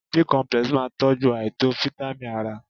Bicomplex máa tọ́jú àìtó fítámìn ara.